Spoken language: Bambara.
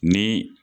Ni